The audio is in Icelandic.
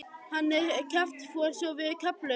Hann er kjaftfor svo við kefluðum hann.